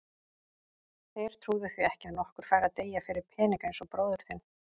Þeir trúðu því ekki að nokkur færi að deyja fyrir peninga eins og bróðir þinn.